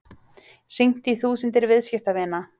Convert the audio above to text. Hringt í þúsundir viðskiptavina